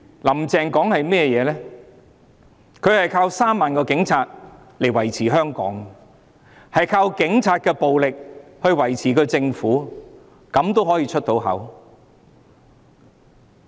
"林鄭"說她依靠3萬名警察來維持香港的治安，靠警察的暴力來維持政府的運作。